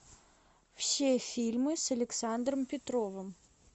все фильмы с александром петровым